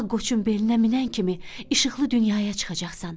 Ağ qoçun beyninə minən kimi işıqlı dünyaya çıxacaqsan.